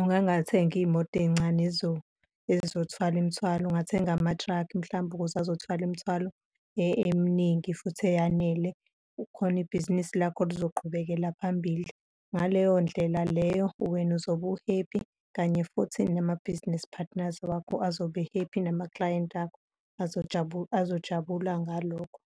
ungangathengi iy'moto ey'ncane ezizothwala imithwalo, ungathenga ama-truck-i mhlampe ukuze azothwala imithwalo eminingi futhi eyanele khona ibhizinisi lakho luzoqhubekala phambili. Ngaleyo ndlela leyo wena uzobe u-happy kanye futhi nama-business partners wakho azobe-happy, namaklayenti akho azojabula ngalokho.